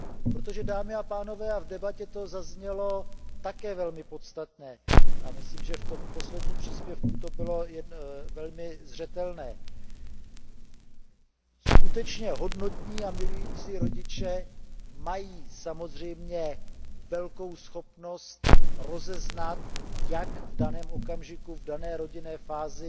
Protože, dámy a pánové, v debatě to zaznělo také velmi podstatně a myslím, že v tom posledním příspěvku to bylo velmi zřetelné skutečně hodnotní a milující rodiče mají samozřejmě velkou schopnost rozeznat, jak se v daném okamžiku, v dané rodinné fázi,